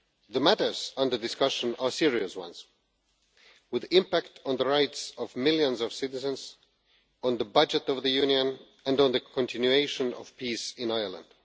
The matters under discussion are serious ones with an impact on the rights of millions of citizens, on the budget of the Union and on the continuation of peace in Ireland.